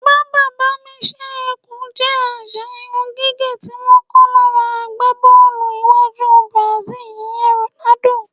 Bàbá-bá-mi-s̩é̩-e̩-kù jé̩ às̩à irún gígè̩ tí wó̩n kó̩ lára agbábó̩ò̩lù iwájú Brazil, ìye̩n Ronaldo.